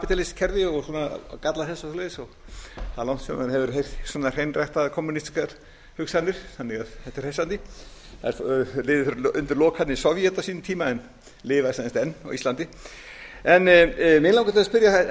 um kapítalískt kerfi og galla þess og svoleiðis það er langt síðan maður hefur heyrt svona hreinræktaðar kommúnistískar hugsanir þannig að þetta er hressandi þeir liðu undir lok þarna í sovét á sínum en tíma en lifa sem sagt enn á íslandi mig langar til